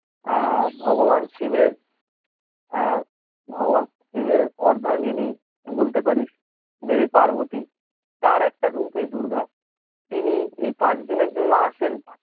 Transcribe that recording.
আর ভগবান শিবের আহ ভগবান শিবের অর্ধাঙ্গীনী বলতে পারিস দেবী পার্বতী তার একটি রূপ এই দূর্গা, তিনি এই পাঁচ দিনের জন্য আসেন